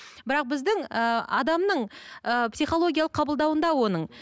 бірақ біздің ыыы адамның ы психологиялық қабылдауында оның